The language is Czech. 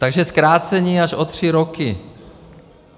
Takže zkrácení až o tři roky.